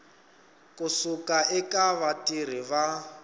ku suka eka vatirhi va